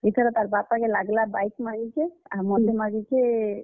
ଇଥର ତାର୍ ବାପାକେ ମାଗ୍ ଲା bike ମାଗିଛେ, ଆଉ ମତେ ମାଗିଛେ।